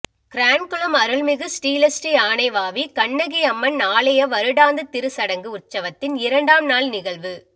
கிரான்குளம் அருள்மிகு ஸ்ரீலஸ்ரீ ஆனைவாவி கண்ணகி அம்மன் ஆலய வருடாந்த திருச்சடங்கு உற்சவத்தின் இரண்டாம் நாள் நிகழ்வு